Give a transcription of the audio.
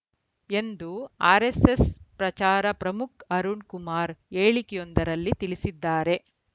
ಎಂದು ಆರೆಸ್ಸೆಸ್‌ ಪ್ರಚಾರ ಪ್ರಮುಖ್‌ ಅರುಣ್‌ ಕುಮಾರ್‌ ಹೇಳಿಕೆಯೊಂದರಲ್ಲಿ ತಿಳಿಸಿದ್ದಾರೆ